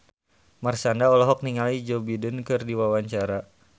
Marshanda olohok ningali Joe Biden keur diwawancara